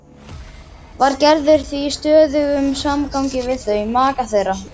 Var Gerður því í stöðugum samgangi við þau, maka þeirra